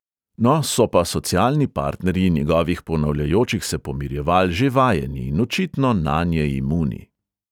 No, so pa socialni partnerji njegovih ponavljajočih se pomirjeval že vajeni in očitno nanje imuni.